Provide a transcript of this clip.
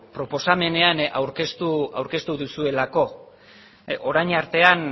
proposamenean aurkeztu duzuelako orain artean